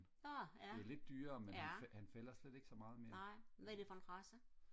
åh ja ja nej hvad er det for en race